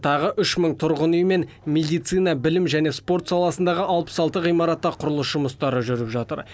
тағы үш мың тұрғын үй мен медицина білім және спорт саласындағы алпыс алты ғимаратта құрылыс жұмыстары жүріп жатыр